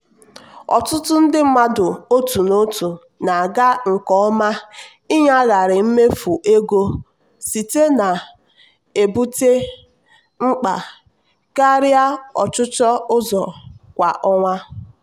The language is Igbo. ọtụtụ ndị mmadụ otu n'otu na-aga nke ọma ịnyagharị mmefu ego site na-ebute mkpa karịa ọchụchọ ụzọ kwa ọnwa.